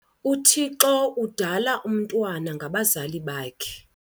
UThixo udala umntwana ngabazali bakhe.